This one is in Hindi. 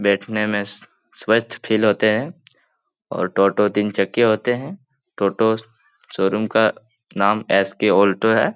बैठने मे स्वच्छ फील होते हैं और टोटो तीन चक्के होते हैं टोटो शोरूम का नाम एस.के. आल्टो है ।